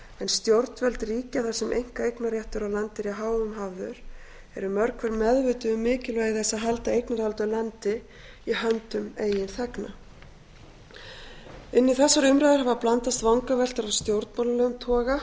stjórnvöld ríkja þar sem einkaeignarréttur á landi er í hávegum hafður eru mörg hver meðvituð um mikilvægi þess að halda eignarhaldi á landi í höndum eigin þegna inn í þessar umræður hafa blandast vangaveltur af stjórnmálalegum toga